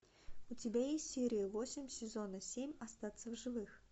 у тебя есть серия восемь сезона семь остаться в живых